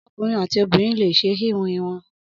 Ọkunrin ati obinrin le ṣe ihun irun.